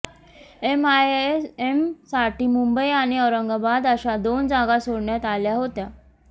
एमआयएमसाठी मुंबई आणि औरंगाबाद अशा दोन जागा सोडण्यात आल्या होत्या